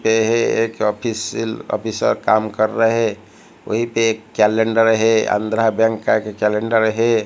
ये एक official officer काम कर रहे वहीं पे एक कैलेंडर है आंध्र बैंक का ये कैलेंडर है। ये एक ऑफिशियल ऑफिसर काम कर रहे वहीं पे एक कैलेंडर है आंध्र बैंक का ये कैलेंडर है।